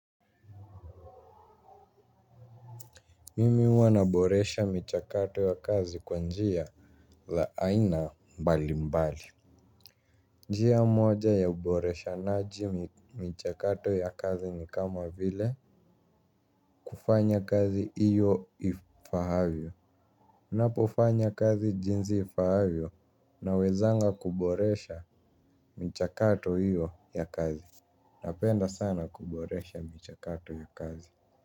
Mimi huwa naboresha michakato ya kazi kwa njia la aina mbali mbali. Njia moja ya uboreshanaji michakato ya kazi ni kama vile kufanya kazi hiyo ifaavyo. Napofanya kazi jinsi ifaavyo nawezanga kuboresha michakato hiyo ya kazi. Napenda sana kuboresha michakato ya kazi.